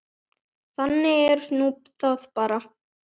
Þannig er nú það bara.